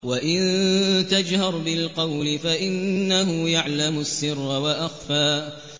وَإِن تَجْهَرْ بِالْقَوْلِ فَإِنَّهُ يَعْلَمُ السِّرَّ وَأَخْفَى